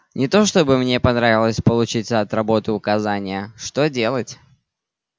не то чтобы мне понравилось получить от работы указания что делать